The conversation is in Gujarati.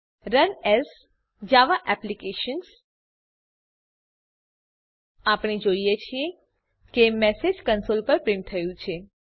રન એએસ જાવા એપ્લિકેશન્સ આપણે જોઈએ છીએ કે મેસેજ કંસોલ પર પ્રીંટ થયું છે